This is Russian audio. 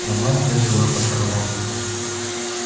но мамка взяла под крыло